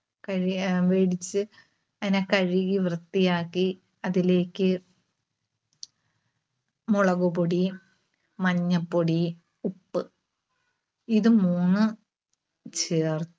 കഴുകി ആഹ് വേടിച്ച് അതിനെ കഴുകി വൃത്തിയാക്കി അതിലേക്ക് മുളകുപൊടി, മഞ്ഞപൊടി, ഉപ്പ് ഇത് മൂന്നും ചേർ~